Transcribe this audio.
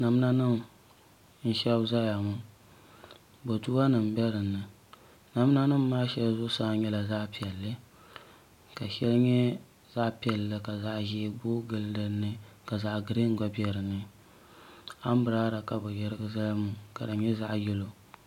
namdanima n-shɛbi zaya ŋɔ boduanima be di ni namdanima maa shɛli zuɣusaa nyɛla zaɣ' piɛlli ka shɛli nyɛ zaɣ' piɛlli ka zaɣ' ʒee booi gili di ni ka zaɣ' girin gba be di ni ambirɛla ka bɛ yirigi zali ŋɔ ka di nyɛ zaɣ' yelo